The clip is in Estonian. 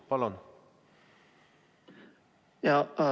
Palun!